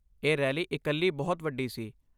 ਇਹ ਰੈਲੀ ਇਕੱਲੀ ਬਹੁਤ ਵੱਡੀ ਸੀ।